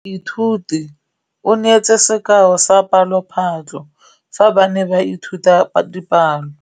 Moithuti o neetse sekaô sa palophatlo fa ba ne ba ithuta dipalo.